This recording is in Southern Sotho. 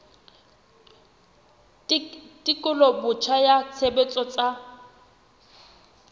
tekolo botjha ya tshebetso tsa